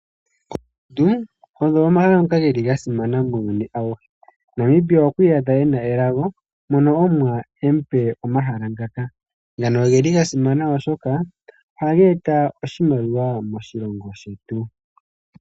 Oondundu odho omavi ngoka geli ga simana muuyuni awuhe. Namibia okwa iyadha ena elago mono Omuwa emu pe omahala ngaka. Ngano oge li ga simana oshoka ohaga eta oshimaliwa moshilongo shetu.